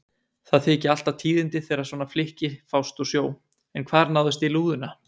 Það þykja alltaf tíðindi þegar svona flykki fást úr sjó, en hvar náðist í lúðuna?